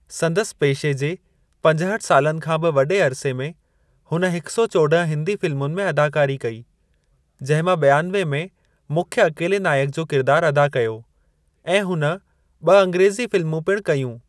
संदसि पेशे जे पंजहठि सालनि खां बि वॾे अरिसे में, हुन हिक सौ चोड॒ह हिंदी फ़िल्मुनि में अदाकारी कई, जंहिं मां बि॒आनवे में मुख्यु अकेले नायक जो किरिदारु अदा कयो, ऐं हुन ॿ अंग्रेज़ी फ़िल्मूं पिणु कयूं।